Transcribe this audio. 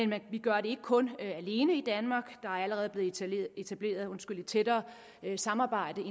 men vi gør det ikke kun i danmark der er allerede blevet etableret et tættere samarbejde